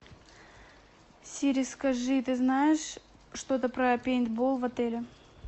сири скажи ты знаешь что то про пейнтбол в отеле